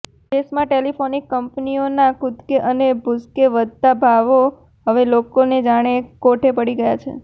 દેશમાં ટેલિકોમ કંપનીઓના કુદકે અને ભૂસકે વધતા ભાવો હવે લોકોને જાણે કોઠે પડી ગયા છે